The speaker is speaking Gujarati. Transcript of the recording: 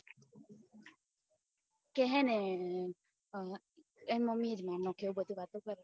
કે હે ને એની મમ્મી એ જ મારી નાખ્યો એવી બધી વાતો કરે